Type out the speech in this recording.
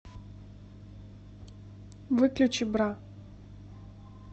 выключи бра